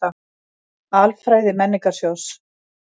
Alfræði Menningarsjóðs.